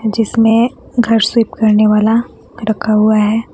जिसमें घर स्विप करने वाला रखा हुआ है।